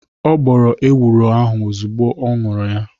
Ọ gbọrọ ewuro ahu ozugbọ ọ ñuru ya